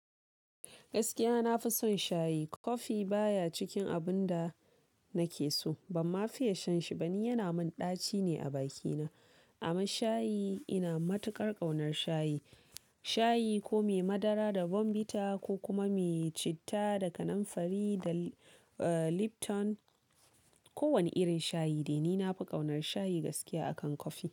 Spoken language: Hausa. Gaskiya nafi son shayi, kofi baya cikin abunda nakeso, bam fiye shan shi bani, yana min ɗaci ne a bakina. Amma shayi, ina matuƙar ƙaunar shayi, shayi ko me madara da bomvita, ko kuma me citta da kanamfari, da Lipton, kowane irin shayi de. Ni nafi ƙaunar shayi gaskiya akan kofi.